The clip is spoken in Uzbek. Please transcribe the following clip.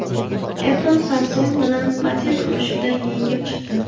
Apple Samsung bilan patent urushida yengib chiqdi.